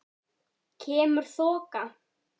Kemur þoka.